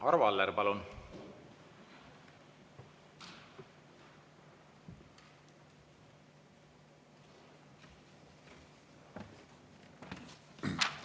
Arvo Aller, palun!